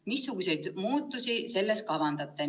Missuguseid muutusi selles kavandate?